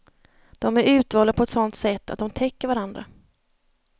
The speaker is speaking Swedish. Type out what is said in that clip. De är utvalda på ett sådant sätt att de täcker varandra.